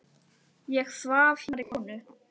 Ég svaf hjá annarri konu.